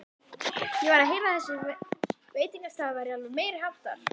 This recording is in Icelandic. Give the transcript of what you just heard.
Ég var að heyra að þessi veitingastaður væri alveg meiriháttar!